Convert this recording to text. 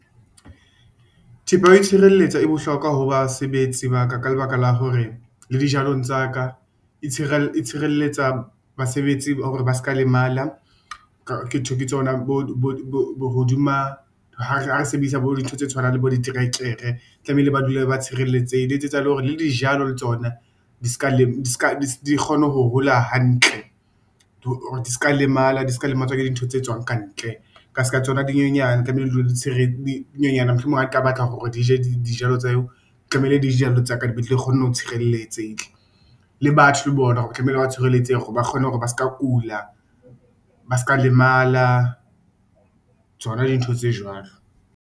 Thepa ya ho itshireletsa e bohlokwa ho basebetsi ba ka, ka lebaka la hore le dijalong tsa ka e tshirelletse basebetsi hore ba se ka lemala. Ke tsona hodima hare sebedisa bo dintho tse tshwanang le bo diterekere, tlamehile ba dule ba tshireletsehile le o e tsetsa le hore le dijalo le tsona di kgone ho hola hantle hore di ska lemala di ska le matswa ke dintho tse tswang ka ntle, ka ska tsona dinonyana tlamehile mohlomong ha di ka batla hore di je dijalo tseo tlamehile dijalo tsaka di be di tle kgone ho tshireletseke. Le batho le bona hore tlamehile ba tshireletsehe hore ba kgone hore ba ska kula, ba ska lemala tsona dintho tse jwalo.